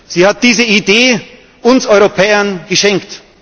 Es hat diese Idee uns Europäern geschenkt.